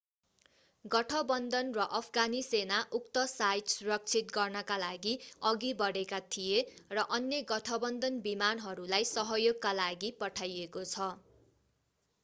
गठबन्धन र अफगानी सेना उक्त साइट सुरक्षित गर्नका लागि अघि बढेका थिए र अन्य गठबन्धन विमानहरूलाई सहयोगका लागि पठाइएको छ